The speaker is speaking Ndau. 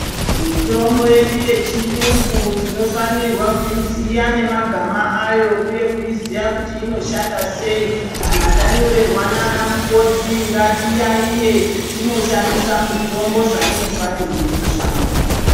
Mitombo yedu yechiyungu tinofanirwa kuiziya nemagama ayo uye kuiziya kuti inoshanda sei kana tanyorerwa naana mukoti ngatiyayiye tinoshandisa mitombo zvainofanirwe kushanda.